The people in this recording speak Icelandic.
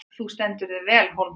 Þú stendur þig vel, Hólmþór!